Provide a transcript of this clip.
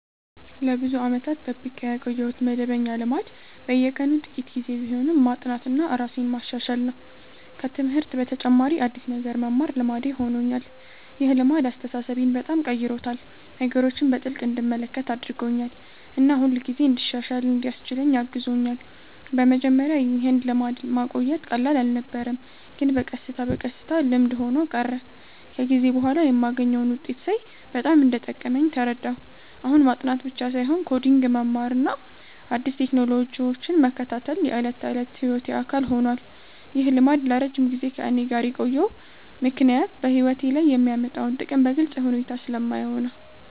ለብዙ ዓመታት የጠብቄ ያቆየሁት መደበኛ ልማድ በየቀኑ ጥቂት ጊዜ ቢሆንም ማጥናትና ራሴን ማሻሻል ነው። ከትምህርት በተጨማሪ አዲስ ነገር መማር ልማዴ ሆኖኛል። ይህ ልማድ አስተሳሰቤን በጣም ቀይሮታል፤ ነገሮችን በጥልቅ እንድመለከት አድርጎኛል እና ሁልጊዜ እንድሻሻል እንዲያስችለኝ አግዞኛል። በመጀመሪያ ይህን ልማድ ማቆየት ቀላል አልነበረም፣ ግን በቀስታ በቀስታ ልምድ ሆኖ ቀረ። ከጊዜ በኋላ የማገኘውን ውጤት ሳይ በጣም እንደጠቀመኝ ተረዳሁ። አሁን ማጥናት ብቻ ሳይሆን ኮዲንግ መማርና አዲስ ቴክኖሎጂዎችን መከታተል የዕለት ተዕለት ሕይወቴ አካል ሆኗል። ይህ ልማድ ለረጅም ጊዜ ከእኔ ጋር የቆየው ምክንያት በሕይወቴ ላይ የሚያመጣውን ጥቅም በግልጽ ሁኔታ ስለማየው ነው።